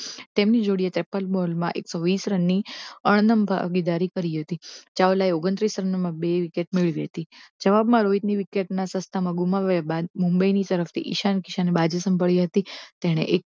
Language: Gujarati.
તેમની જોડીએ તેપન બોલમાં એક સો વીસ રનની અણનમ ભાગીદારી કરી હતી ચાવલાએ ઓગન્ત્રીશ રનમાં બે વિકેટ મેળવી હતી જવાબમાં રોહિતની વિકેટ ના સસ્તામાં ગુમાવ્યા બાદ મુંબઈની તરફથી ઈશાન કિશાન ને બાજી સંભાળી હતી તેણે